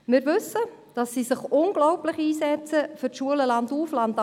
Wir wissen, dass sie sich unglaublich einsetzen für die Schulen landauf, landab.